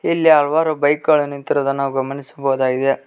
ಇಲ್ಲಿ ಹಲವಾರು ಬೈಕ್ಗಳು ನಿಂತಿರುವುದನ್ನು ನಾವು ಗಮನಿಸಬಹುದಾಗಿದೆ.